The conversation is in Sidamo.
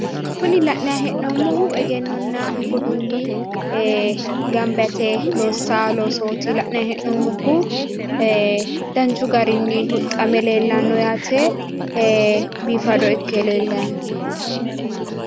Kuni la'nayi hee'noommohu egennonna budunni gamba yite loossanno loosooti la'nayi hee'nommohu, danchu garinni huxxame leellayi no yaate, biifado ikke leellayi no.